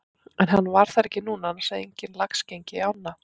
En hann var þar ekki núna annars hefði enginn lax gengið í ána.